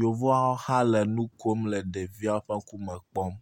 Yovoawo hã le nukom le ɖeviawo ƒe ŋkume kpɔm.